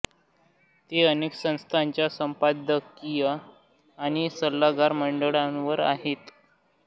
ते अनेक संस्थांच्या संपादकीय आणि सल्लागार मंडळांवर आहेत